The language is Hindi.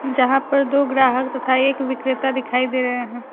जहाँ पर दो ग्राहक तथा एक विक्रेता दिखाई दे रहे हैं।